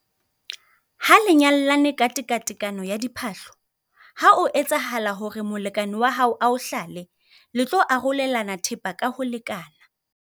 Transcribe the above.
Ha le nyalane ka tekatekano ya diphahlo, ha o etsahala hore molekane wa hao a o hlale, le tlo arolelana thepa ka ho lekana.